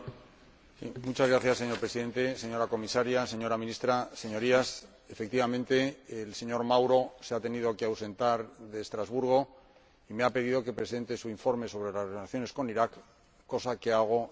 Señor Presidente, señora Comisaria, señora Ministra, Señorías, efectivamente, el señor Mauro se ha tenido que ausentar de Estrasburgo y me ha pedido que presente su informe sobre las relaciones con Irak, cosa que hago muy gustoso.